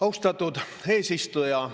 Austatud eesistuja!